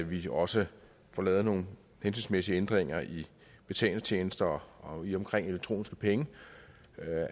vi også får lavet nogle hensigtsmæssige ændringer i betalingstjenester i og omkring elektroniske penge